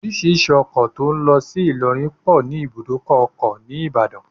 Orísìírísìí ọkọ tó ń lọ sí Ilorin pọ ní ibùdó ọkọ̀ ni Ìbàdàn